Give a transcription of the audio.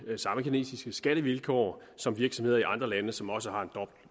samme kinesiske skattevilkår som virksomheder i andre lande som også har en